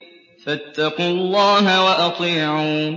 فَاتَّقُوا اللَّهَ وَأَطِيعُونِ